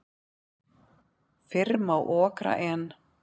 Fyrr má okra en.